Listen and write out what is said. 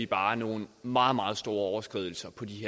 bare nogle meget meget store overskridelser